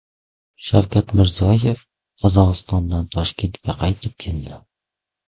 Shavkat Mirziyoyev Qozog‘istondan Toshkentga qaytib keldi.